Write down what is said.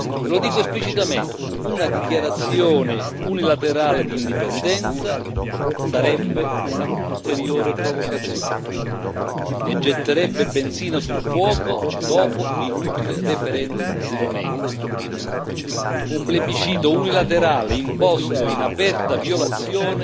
E lo dico esplicitamente una dichiarazione unilaterale di indipendenza sarebbe un'ulteriore provocazione e getterebbe benzina sul fuoco dopo l'inutile referendum di domenica un plebiscito unilaterale imposto in aperta violazione